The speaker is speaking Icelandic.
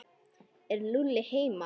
Er Lúlli heima?